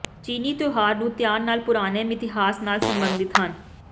ਚੀਨੀ ਤਿਉਹਾਰ ਨੂੰ ਧਿਆਨ ਨਾਲ ਪੁਰਾਣੇ ਮਿਥਿਹਾਸ ਨਾਲ ਸਬੰਧਤ ਹਨ